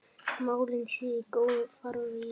Málin séu í góðum farvegi.